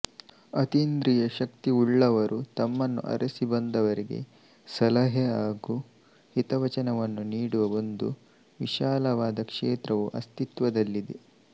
ಅತೀಂದ್ರಿಯ ಶಕ್ತಿಯುಳ್ಳವರು ತಮ್ಮನ್ನು ಅರಸಿ ಬಂದವರಿಗೆ ಸಲಹೆ ಹಾಗು ಹಿತವಚನವನ್ನು ನೀಡುವ ಒಂದು ವಿಶಾಲವಾದ ಕ್ಷೇತ್ರವು ಅಸ್ತಿತ್ವದಲ್ಲಿದೆ